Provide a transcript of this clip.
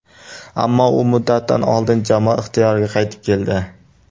Ammo u muddatidan oldin jamoa ixtiyoriga qaytib keldi.